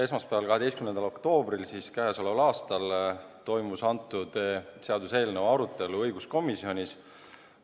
Esmaspäeval, k.a 12. oktoobril toimus selle seaduseelnõu arutelu õiguskomisjonis.